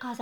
این